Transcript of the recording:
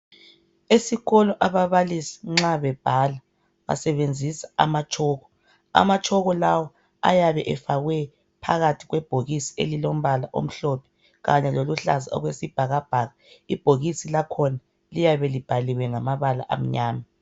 Esikolo ababalisi nxabebhala basebenzisa amatshoko amatshoko lawo ayabe efakwe phakathi kwebhokisi elilombala omhlophe kanye loluhlaza okwesibhakabhaka ibhokisi lakhona liyabe libhaliwe ngamabala amnyama.